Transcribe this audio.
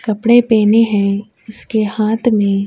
کپڑے اس کے ہاتھ میں ہیں۔.